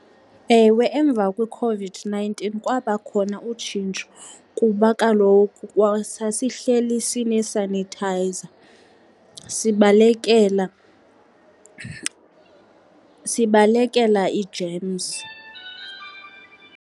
Ewe, emva kweCOVID-nineteen kwaba khona utshintsho kuba kaloku sasihleli sinesanithayiza, sibalekela sibalekela iijemzi.